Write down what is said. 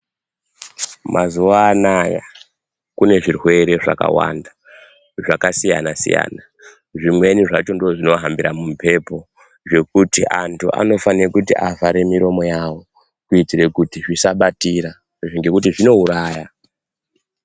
Mazuva anaya kune zvirwere zvakawanda zvakasiyana siyana zvimweni zvacho ndizvo zvinohambira mumhepo zvekuti vanthu vanofanira kuti vavhare miromo yavo kuitire kuti zvisabatira ngekuti zvinouraya.